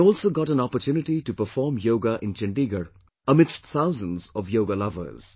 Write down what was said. I also got an opportunity to perform Yoga in Chandigarh amidst thousands of Yoga lovers